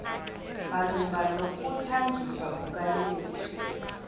malunga nokuthanjiswa kukayesu